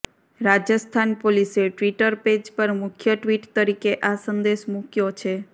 રાજસ્થાન પોલીસે Twitter page પર મુખ્ય ટ્વીટ તરીકે આ સંદેશ મુક્યો છે